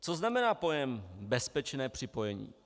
Co znamená pojem bezpečné připojení?